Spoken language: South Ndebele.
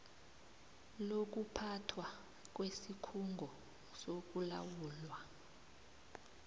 lokuphathwa kwesikhungo sokulawulwa